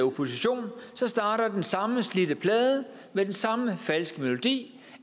opposition så starter den samme slidte plade med den samme falske melodi